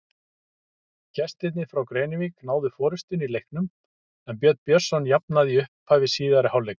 Gestirnir frá Grenivík náðu forystunni í leiknum en Björn Björnsson jafnaði í upphafi síðari hálfleiks.